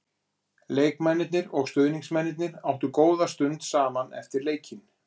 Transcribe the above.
Leikmennirnir og stuðningsmennirnir áttu góða stund saman eftir leikinn.